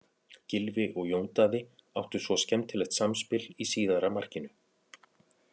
Gylfi og Jón Daði áttu svo skemmtilegt samspil í síðara markinu.